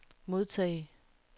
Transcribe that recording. modtage